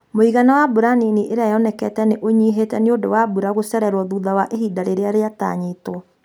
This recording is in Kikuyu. Mũigana wa mbura nini iria yonekete nĩ ũnyihĩte nĩ ũndũ wa mbura gũcererwo thutha wa ihinda rĩrĩa riatanyĩtwo.